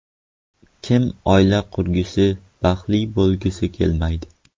Kim oila qurgisi, baxtli bo‘lgisi kelmaydi?